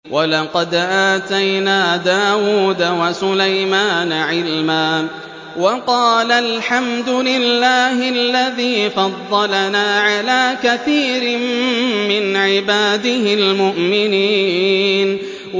وَلَقَدْ آتَيْنَا دَاوُودَ وَسُلَيْمَانَ عِلْمًا ۖ وَقَالَا الْحَمْدُ لِلَّهِ الَّذِي فَضَّلَنَا عَلَىٰ كَثِيرٍ مِّنْ عِبَادِهِ الْمُؤْمِنِينَ